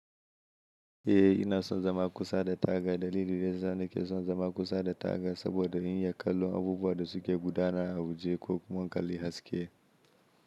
Eh ina son zama kusa da taga. Dalilin da ya sa nake son zama kusa da taga saboda in yi kallon abubuwan da suke gudana a waje ko kuma in kalli haske.